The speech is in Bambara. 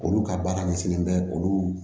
Olu ka baara ɲɛsinnen bɛ olu